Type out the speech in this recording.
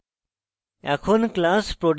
এখন